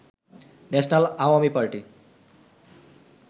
national Awami party